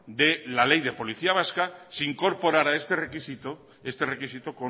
de la ley de policía vasca se incorporará este requisito este requisito